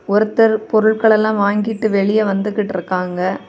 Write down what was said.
ஒருத்தர் பொருள்களெல்லா வாங்கிட்டு வெளிய வந்துகிட்டிருக்காங்க.